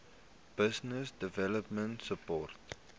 business development support